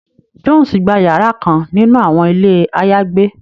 Jones gbà yàrà kàn nínú awọn ilé ayagbe